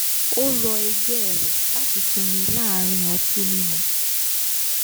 ó rọ e̩gbé̩ rẹ̀ láti sinmi láàárín ọtí mímu